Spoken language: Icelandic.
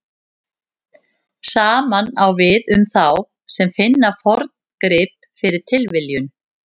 Sama á við um þá sem finna forngrip fyrir tilviljun.